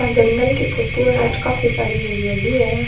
आ जंगल की फोटो है अठ काफी सारी हरयालि है।